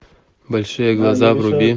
большие глаза вруби